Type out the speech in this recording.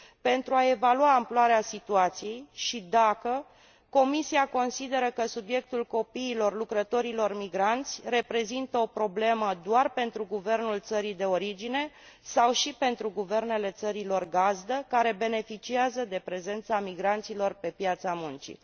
pentru a evalua amploarea situației și dacă Comisia consideră că subiectul copiilor lucrătorilor migranți reprezintă o problemă doar pentru guvernul țării de origine sau și pentru guvernele țărilor gazdă care beneficiază de prezența migranților pe piața muncii..